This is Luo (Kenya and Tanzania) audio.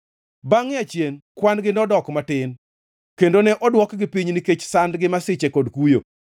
Bangʼe achien kwan-gi nodok matin kendo ne odwokgi piny nikech sand gi masiche kod kuyo;